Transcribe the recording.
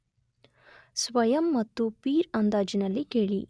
ಸ್ವಯಂ ಮತ್ತು ಪೀರ್ ಅಂದಾಜಿನಲ್ಲಿ ಕೇಳಿ.